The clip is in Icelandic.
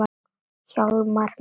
Hjálmar minn.